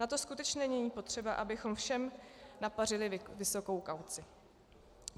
Na to skutečně není potřeba, abychom všem napařili vysokou kauci.